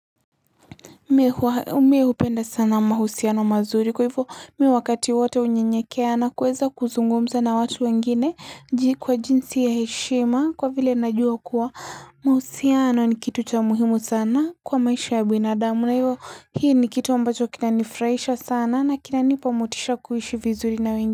Mi hupenda sana mahusiano mazuri kwa hivyo mi wakati wote unyenyekea na kuweza kuzungumza na watu wengine kwa jinsi ya heshima kwa vile najua kuwa mahusiano ni kitu cha muhimu sana kwa maisha ya binadamu na hivyo hii ni kitu ambacho kinanifuraisha sana na kinanipamotisha kuishi vizuri na wengine.